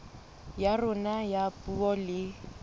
ya rona ya puo le